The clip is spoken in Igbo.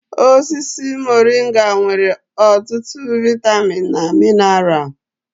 Osisi moringa nwere ọtụtụ vaịtamịn na mineral.